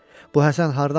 Bu Həsən hardan çıxdı?